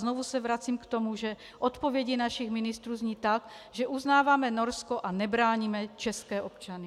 Znovu se vracím k tomu, že odpovědi našich ministrů zní tak, že uznáváme Norsko a nebráníme české občany.